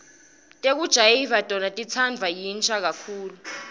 tekujayiva tona titsandvwa yinsha kakhulu